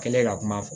Kɛlen ka kuma fɔ